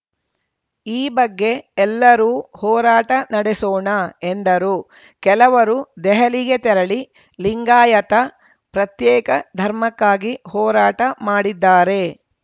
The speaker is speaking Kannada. ಈ ಬಗ್ಗೆ ಎಲ್ಲರೂ ಹೋರಾಟ ನಡೆಸೋಣ ಎಂದರು ಕೆಲವರು ದೆಹಲಿಗೆ ತೆರಳಿ ಲಿಂಗಾಯತ ಪ್ರತ್ಯೇಕ ಧರ್ಮಕ್ಕಾಗಿ ಹೋರಾಟ ಮಾಡಿದ್ದಾರೆ